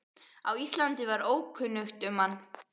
á Íslandi var ókunnugt um hann.